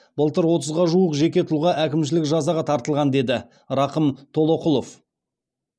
былтыр отызға жуық жеке тұлға әкімшілік жазаға тартылған деді рақым толоқұлов